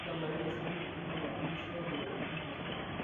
tadalayu esiana endala enkisiayiare emposta